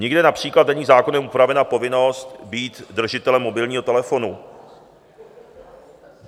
Nikde například není zákonem upravena povinnost být držitelem mobilního telefonu.